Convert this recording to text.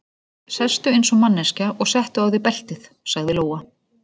Sestu eins og manneskja og settu á þig beltið, sagði Lóa.